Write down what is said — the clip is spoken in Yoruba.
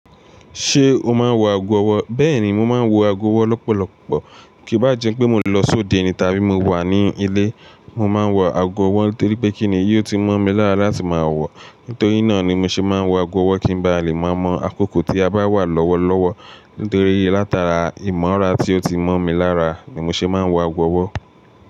Ṣé o máa ń wọ ago ọwọ́? Bẹ́ẹ̀ni, mo máa ń wọ ago ọwọ́ lọ́pọ̀lọpọ̀. Kíì bá jẹ́ pé mo lọ sóde ni tàbí mo wà ní ilé, mo máa ń wọ ago ọwọ́ torí pé kíni yóò ti mọ̀ mi lára láti má wọ̀. Nítorí náà ni mo ṣe máa ń wọ ago ọwọ́ kí n ba lè mọ̀ mọ́ àkókò tí a bá wà lọ́wọ́lọ́wọ́. Nítorí látara ìmọ̀ra tí ó ti mọ̀ mi lára ni mo ṣe máa ń wọ ago ọwọ́.